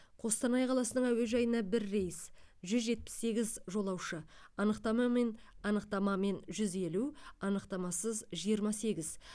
қостанай қаласының әуежайына бір рейс жүз жетпіс сегіз жолаушы анықтамамен анықтамамен жүз елу анықтамасыз жиырма сегіз